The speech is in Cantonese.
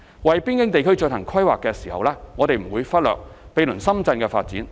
為邊境地區進行規劃時，我們不會忽略毗鄰深圳的發展。